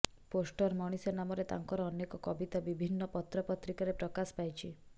poster ମଣିଷ ନାମରେ ତାଙ୍କର ଅନେକ କବିତା ବିଭିନ୍ନ ପତ୍ର ପତ୍ରିକାରେ ପ୍ରକାଶ ପାଇଛି